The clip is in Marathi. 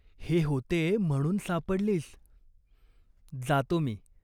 हे होते म्हणून सापडलीस." "जातो मी?".